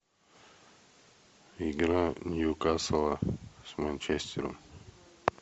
игра ньюкасла с манчестером